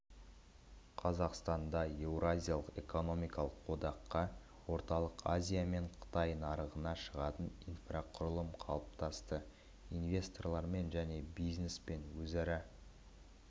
қазақстанда еуразиялық экономикалық одаққа орталық азия мен қытай нарығына шығатын инфрақұрылым қалыптасты инвесторлармен және бизнеспен өзара